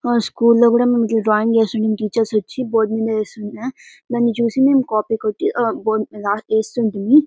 ఆ స్కూల్ లో కూడా మేము డ్రాయింగ్ ఏసి టీచర్స్ వచ్చి బోర్డు మీద ఇస్తుంటే. దాన్ని చూసి మేము కాపీ కొట్టి ఆ గీస్తుంటిము.